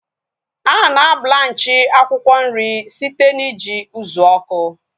Ana blanchi akwụkwọ nri site na iji ụzụ ọkụ